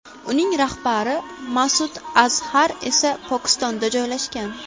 Uning rahbari Ma’sud Azhar esa Pokistonda joylashgan.